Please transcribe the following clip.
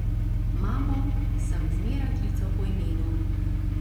Mamo sem zmeraj klical po imenu.